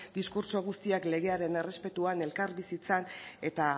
diskurtso guztiak legearen errespetuan elkarbizitzan eta